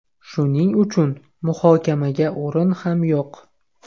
Shuning uchun muhokamaga o‘rin ham yo‘q.